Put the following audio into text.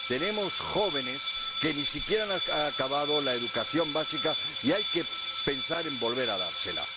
Tenemos jóvenes que ni siquiera han acabado la educación básica y hay que pensar en volver a dársela.